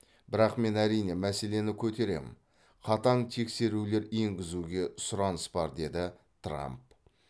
бірақ мен әрине мәселені көтеремін қатаң тексерулер енгізуге сұраныс бар деді трамп